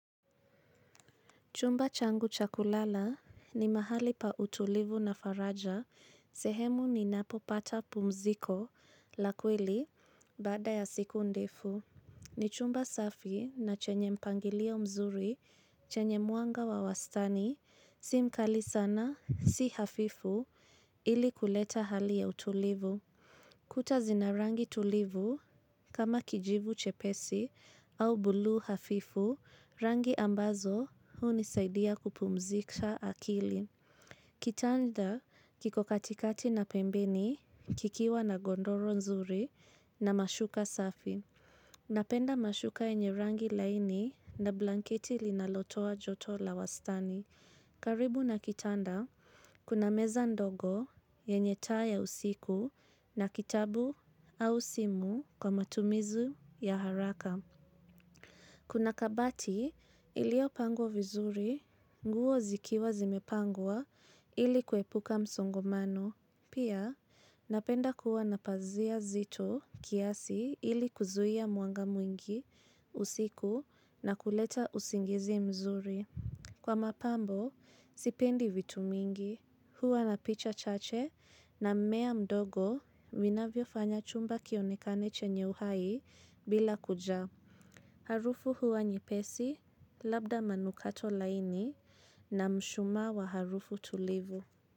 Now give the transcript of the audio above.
Chumba changu cha kulala ni mahali pa utulivu na faraja, sehemu ni napopata pumziko, la kweli, baada ya siku ndefu. Ni chumba safi, na chenye mpangilio mzuri, chenye mwanga wa wastani, simkali sana, si hafifu, ili kuleta hali ya utulivu. Kuta zina rangi tulivu, kama kijivu chepesi au buluu hafifu, rangi ambazo, hunisaidia kupumzika akili. Kitanda, kiko katikati na pembeni, kikiwa na gondoro nzuri na mashuka safi. Napenda mashuka yenye rangi laini na blanketi linalotoa joto la wastani. Karibu na kitanda, kuna meza ndogo, yenye taa ya usiku na kitabu au simu, kwa matumizi ya haraka. Kuna kabati, ilio pangwa vizuri, nguo zikiwa zimepangwa, ili kuwepuka msongomano. Pia, napenda kuwa napazia zito, kiasi, ili kuzuia mwanga mwingi, usiku na kuleta usingizi mzuri. Kwa mapambo, sipendi vitu mingi. Huwa na picha chache na mmea mdogo, minavyo fanya chumba kionekane chenye uhai, bila kujaa. Harufu huwa nyepesi, labda manukato laini na mshumaa wa harufu tulivu.